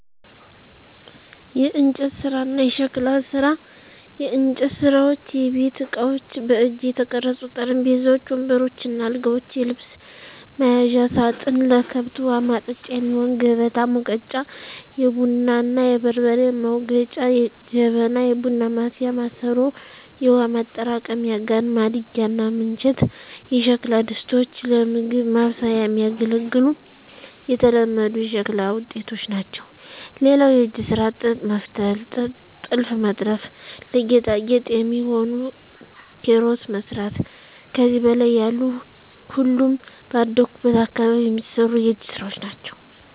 **የእንጨት ስራ እና የሸክላ ስራ፦ *የእንጨት ስራዎች * የቤት እቃዎች: በእጅ የተቀረጹ ጠረጴዛዎች፣ ወንበሮች እና አልጋዎች፣ የልብስ መያዣ ሳጥን፣ ለከብት ውሀ ማጠጫ የሚሆን ከበታ፣ ሙገጫ(የቡና እና የበርበሬ መውገጫ) ጀበና (የቡና ማፍያ ማሰሮ)፣ የውሃ ማጠራቀሚያ ጋን፣ ማድጋ እና ምንቸት የሸክላ ድስቶች ለምግብ ማብሰያ የሚያገለግሉ የተለመዱ የሸክላ ውጤቶች ናቸው። *ሌላው የእጅ ስራ ጥጥ መፍተል *ጥልፍ መጥለፍ *ለጌጣጌጥ የሚሆኑ ኪሮስ መስራት ከዚህ በላይ ያሉ ሁሉም ባደኩበት አካባቢ የሚሰሩ የእጅ ስራወች ናቸው።